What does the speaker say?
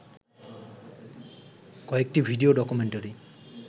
কয়েকটি video documentary